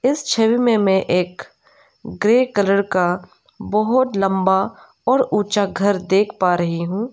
इस छवि मे मै एक ग्रे कलर का बहोत लंबा और ऊंचा घर देख पा रही हूं।